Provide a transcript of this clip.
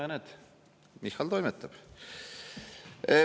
Ja näed, Michal toimetab!